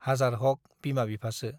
हाजार हक बिमा बिफासो।